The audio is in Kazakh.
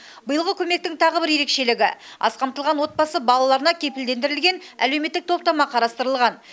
биылғы көмектің тағы бір ерекшелігі аз қамтылған отбасы балаларына кепілдендірілген әлеуметтік топтама қарастырылған